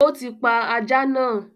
O ti pa ajá naa